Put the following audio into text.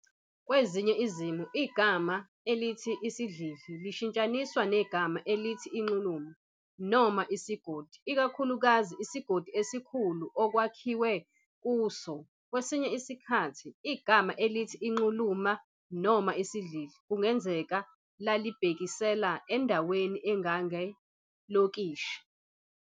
Kwezinye izimo, igama elithi "isidlidli" lishintshaniswa negama elithi "inxuluma" noma "isigodi", ikakhulukazi isigodi esikhulu okwakhiwe kuso. Kwesinye isikhathi, igama elithi "inxuluma" noma "isidlidli" kungenzeka lalibhekisela endaweni engange- "lokishi".